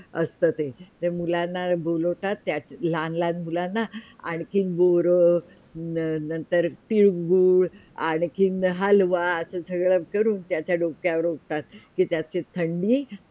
असतं ते मुलांना बोलावतात, त्या लहान - लहान मुलांना आणखी बोरं नंतर तिळगूळ आणखी हलवा असा सर्व करून ते त्याच्या डोक्यावर ओततात तर त्याची थंडी